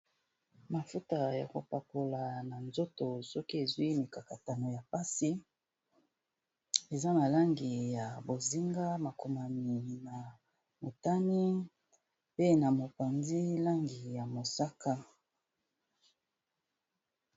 Mafuta ya kopakola na nzoto soki ezwi mikakatano ya mpasi eza malangi ya bozinga makomami na motani pe na mopanzi langi ya mosaka